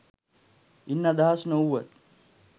ඉන් අදහස් නොවුවත්